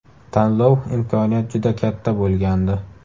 Tanlov imkoniyat juda katta bo‘lgandi.